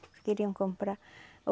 Que queriam comprar.